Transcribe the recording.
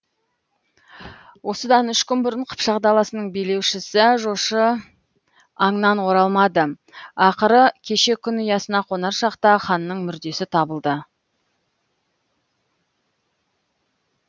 осыдан үш күн бұрын қыпшақ даласының билеушісі жошы аңнан оралмады ақыры кеше күн ұясына қонар шақта ханның мүрдесі табылды